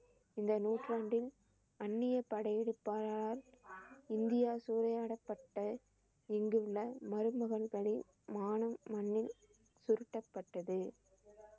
இந்த நூற்றாண்டின் அந்நிய படையெடுப்பாளரால் இந்தியா சூறையாடப்பட்ட இங்குள்ள மருமகன்களின் மானம் மண்ணில் சுருட்டப்பட்டது.